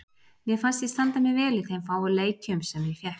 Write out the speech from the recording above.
Mér fannst ég standa mig vel í þeim fáu leikjum sem ég fékk.